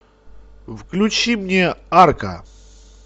включи мне арка